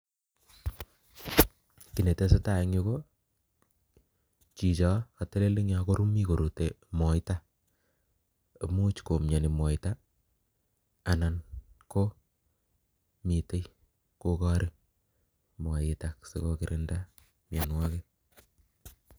Kii nee tesetai eng yu ko chicho katelel eng yo komii korute Moita , ko muuch komianii Moita anan ko mitei kokarii moitak si kokironda mianwagik